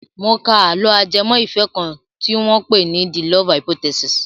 Mo ka àlọ́ ajẹmọ́ ìfẹ́ kan tí wọ́n pè ní "the love hypothesis".